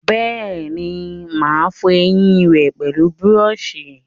Bẹ́ẹ̀ni, mà á fọ ẹyìn rẹ pẹlú búrọ̀sì